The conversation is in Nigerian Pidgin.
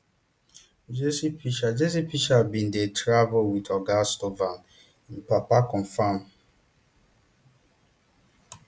jesse pitcher jesse pitcher bin dey travel wit oga stovall im papa confam